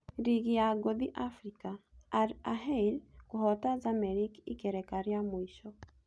Ligi ya ngũthi Africa: Al Ahyl kũhota Zamalek ikereka rĩa mũico